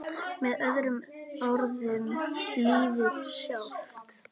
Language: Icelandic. Með öðrum orðum lífið sjálft.